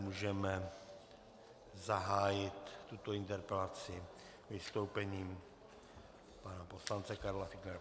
Můžeme zahájit tuto interpelaci vystoupením pana poslance Karla Fiedlera.